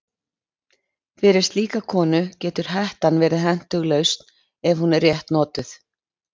Fyrir slíka konu getur hettan verið hentug lausn ef hún er rétt notuð.